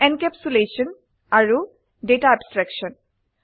encapsulation আৰু data abstraction